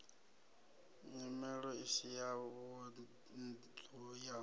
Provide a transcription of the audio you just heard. nyimelo isi ya vhunḓu ya